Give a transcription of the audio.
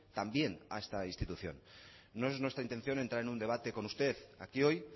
también a esta institución no es nuestra intención entrar en un debate con usted aquí hoy